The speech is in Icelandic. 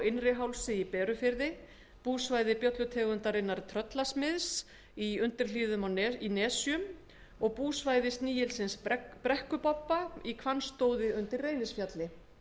innrihálsi í berufirði búsvæði bjöllutegundarinnar tröllasmiðs í undirhlíðum í nesjum og búsvæði snigilsins brekkubobba í hvannstóði undir reynisfjalli